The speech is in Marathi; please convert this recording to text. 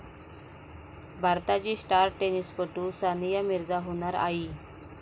भारताची स्टार टेनिसपटू सानिया मिर्झा होणार आई